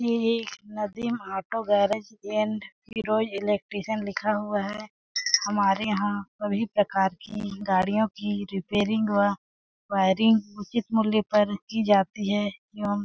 ये एक Nadeem auto garage and Hero electrician लिखा हुआ है हमारे यहाँ सभी प्रकार की गाड़ियों की रिपेयरींग व वायरिंग उचित मूल्य पर की जाती है एवं--